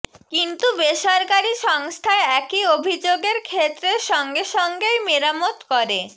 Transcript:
কিন্তু বেসরকারি সংস্থায় একই অভিযোগের ক্ষেত্রে সঙ্গে সঙ্গেই মেরামত করে